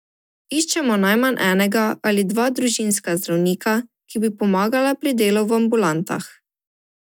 Iščemo najmanj enega ali dva družinska zdravnika, ki bi pomagala pri delu v ambulantah.